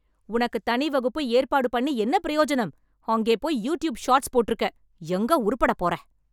உனக்குத் தனி வகுப்பு ஏற்பாடு பண்ணி என்ன பிரயோஜனம்? அங்கேபோய் யூட்யூப் ஷார்ட்ஸ் போட்ருக்க. எங்க உருப்படப் போற?